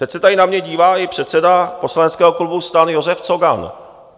Teď se tady na mě dívá i předseda poslaneckého klubu STAN Josef Cogan.